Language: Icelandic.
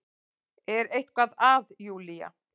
Er eitthvað að Júlía?